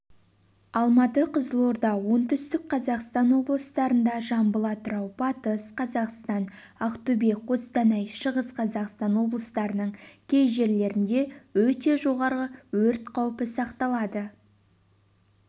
алматы кызылорда оңтүстік-қазақстан облыстарында жамбыл атырау батыс қазақстан ақтөбе қостанай шығыс қазақстан облыстарының кей жерлерінде өте жоғары өрт қаупі сақталады